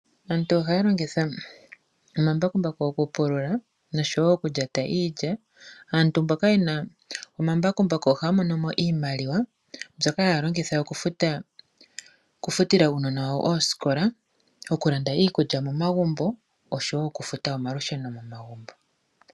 Aantu ohaya longitha omambakumbaku okupula osho wo okulyata iilya. Aantu mboka ye na omambakumbaku ohaya mono iimaliwa mbyoka haya longitha okufutila uunona oosikola, okulanda iikulya osho wo okufuta omalusheno momagumbo.